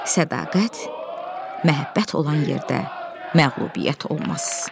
Sədaqət, məhəbbət olan yerdə məğlubiyyət olmaz.